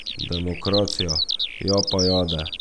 Demokracija, japajade.